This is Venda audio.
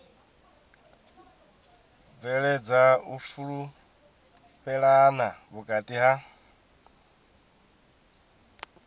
bveledza u fhulufhelana vhukati ha